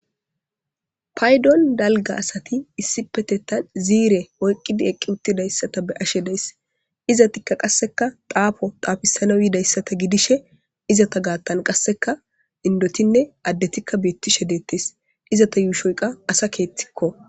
paydon dalga asati issi petethan ziire oyqqidi eqqi uttidayssata be ashe days izatikka qasseka daafo daafisana yiidayssata gidishe izata gaathan qasseka indotinne addetikka beettishe deettes izata yuushoyka asa keethikko